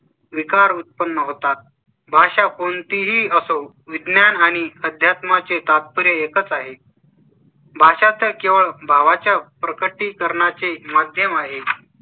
विकार उत्पन्न होतात. भाषा कोणतीही असो. विज्ञान आणि अध्यात्मा चे तात्पर्य एकच आहे . भाषा तर केवळ भावाच्या प्रकटीकरणाचे माध्यम आहे.